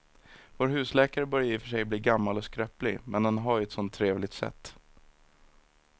Vår husläkare börjar i och för sig bli gammal och skröplig, men han har ju ett sådant trevligt sätt!